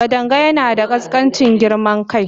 Kadanga yana da ƙaskancin girman kai.